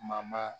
Mama